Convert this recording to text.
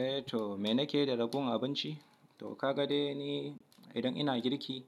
Eh to me nikeyi da ragowar abinci? To ka ga dai ni idan ina girki,